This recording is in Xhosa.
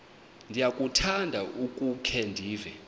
ndiyakuthanda ukukhe ndive